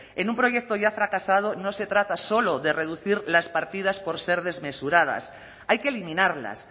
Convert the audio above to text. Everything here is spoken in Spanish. en un proyecto ya fracasado no se trata solo de reducir las partidas por ser desmesuradas hay que eliminarlas